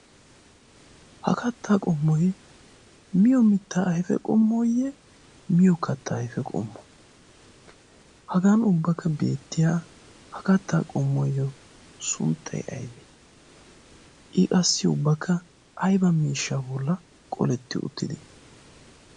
Ha kattaa qommoy miyo mittaa ayfe qommooyye miyo kattaa ayfe qommoo? Hagan ubbakka beettiya ha kattaa qommuwayyo sunttay aybee? I qassi ubbakka ayba miishshaa bollan qoletti uttidee?